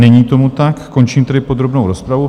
Není tomu tak, končím tedy podrobnou rozpravu.